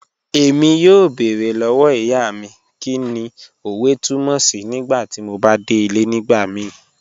Ẹ̀mí yọ̀ọ́ bẹ̀ẹ̀rẹ̀ lọ́wọ́ ìyá mi kíni ọ̀wẹ̀ tùmọ̀ sí̀ nígbàtí mò bá dẹ̀ ilẹ̀ nígbàmìí